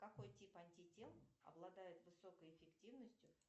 какой тип антител обладает высокой эффективностью